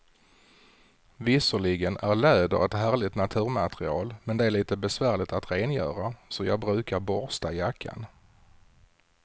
Visserligen är läder ett härligt naturmaterial, men det är lite besvärligt att rengöra, så jag brukar borsta jackan.